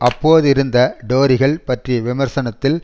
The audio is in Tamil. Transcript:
அப்போதிருந்த டோரிகள் பற்றிய விமர்சனத்தில்